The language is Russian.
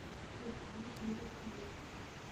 заказать белый хлеб